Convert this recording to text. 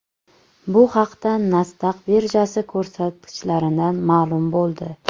Bu haqda Nasdaq birjasi ko‘rsatkichlaridan ma’lum bo‘ldi .